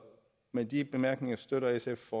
med de bemærkninger støtter sf